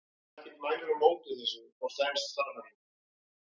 Þar sem ekkert mælir á móti þessu þá stenst staðhæfingin.